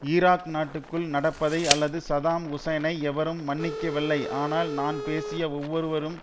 Iraq நாட்டுக்குள் நடப்பதை அல்லது சதாம் ஹுசைனை எவரும் மன்னிக்கவில்லை ஆனால் நான் பேசிய ஒவ்வொருவரும்